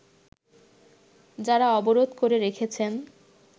যারা অবরোধ করে রেখেছেন